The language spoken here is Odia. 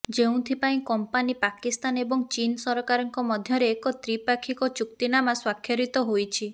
ଯେଉଁଥିପାଇଁ କମ୍ପାନୀ ପାକିସ୍ଥାନ ଏବଂ ଚୀନ୍ ସରକାରଙ୍କ ମଧ୍ୟରେ ଏକ ତ୍ରିପାକ୍ଷିକ ଚୁକ୍ତିନାମା ସ୍ୱାକ୍ଷରିତ ହୋଇଛି